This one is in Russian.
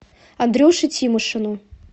андрюше тимошину